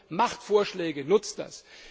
Also Macht Vorschläge, nutzt das!